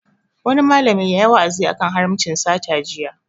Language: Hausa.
Wani malami yayi wa'azi a kan haramcin sata jiya